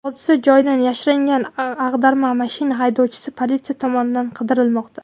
Hodisa joyidan yashiringan ag‘darma mashina haydovchisi politsiya tomonidan qidirilmoqda.